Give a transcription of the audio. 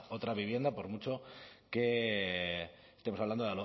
otra vivienda por mucho que estemos hablando